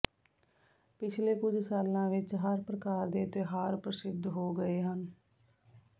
ਪਿਛਲੇ ਕੁਝ ਸਾਲਾਂ ਵਿੱਚ ਹਰ ਪ੍ਰਕਾਰ ਦੇ ਤਿਉਹਾਰ ਪ੍ਰਸਿੱਧ ਹੋ ਗਏ ਹਨ